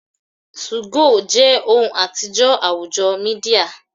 2go je ohun atijọ awujo media